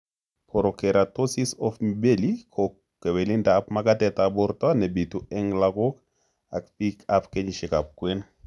Porokeratosis of mibelli ko kewelindop magatetab borto nebitu eng' lagok ak biikab kenyisiekab kwen